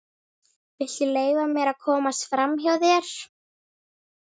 Viltu leyfa mér að komast framhjá þér!